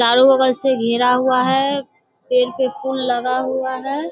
चारो बगल से घिरा हुआ है। पेड़ पर फूल लगा हुआ है।